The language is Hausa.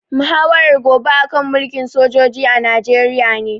Muhawarar gobe a kan mulkin sojoji a Najeriya ne